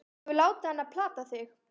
Þú hefur látið hann plata þig!